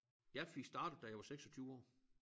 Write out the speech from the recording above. Jeg fik startet da jeg var 26 år